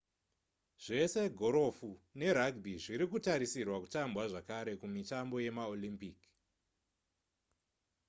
zvese gorofu nerugby zvirikutarisirwa kutambwa zvakare kumitambo yemaolympic